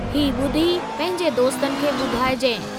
ही ॿुधी पंहिंजे दोस्तनि खे ॿुधाइजि।